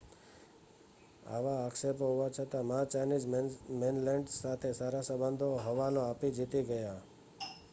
આવા આક્ષેપો હોવા છતાં મા ચાઈનીઝ મૈનલેન્ડ સાથે સારા સંબંધનો હવાલો આપી જીતી ગયા